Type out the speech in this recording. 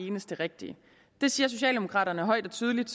eneste rigtige det siger socialdemokraterne højt og tydeligt